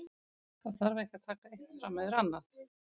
Það þarf ekki að taka eitt fram yfir annað.